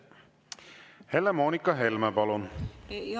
Helle-Moonika Helme, palun!